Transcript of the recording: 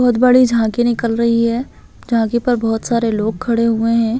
बहोत बड़ी झांकी निकल रही है झांकी पर बहुत सारे लोग खड़े हुए हैं।